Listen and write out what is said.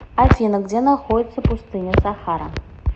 афина где находится пустыня сахара